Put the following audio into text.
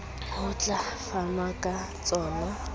ho tla fanwa ka tsona